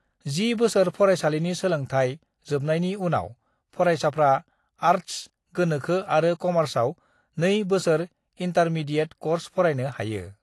"10 बोसोर फरायसालिनि सोलोंथाइ जोबनायनि उनाव फरायसाफ्रा आर्टस, गोनोखो आरो कमार्सआव नै बोसोर इंटारमीडिएट क'र्स फरायनो हायो।"